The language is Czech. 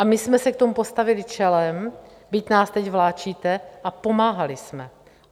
A my jsme se k tomu postavili čelem, byť nás teď vláčíte, a pomáhali jsme.